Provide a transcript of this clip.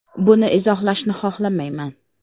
“Buni izohlashni xohlamayman.